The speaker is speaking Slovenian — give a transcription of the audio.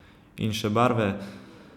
In še barve?